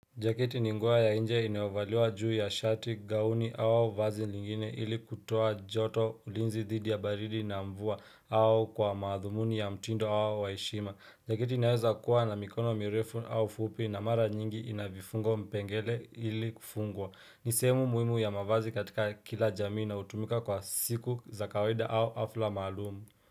Jaketi ni nguo ya nje inayovaliwa juu ya shati, gauni au vazi lingine ili kutoa joto, ulinzi dhidi ya baridi na mvua au kwa madhumuni ya mtindo wao wa heshima. Jaketi inaweza kuwa na mikono mirefu au fupi na mara nyingi inavifungo mpengele ili kufungwa. Nisehemu muhimu ya mavazi katika kila jamii inayotumika kwa siku za kawaida au hafla maalum.